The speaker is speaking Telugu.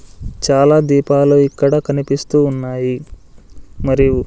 చాలా దీపాలు ఇక్కడ కనిపిస్తూ ఉన్నాయి మరియు.